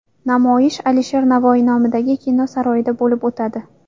Namoyish Alisher Navoiy nomidagi Kino saroyida bo‘lib o‘tadi.